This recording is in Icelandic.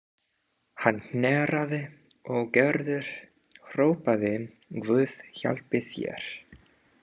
Hann hnerraði og Gerður hrópaði: Guð hjálpi þér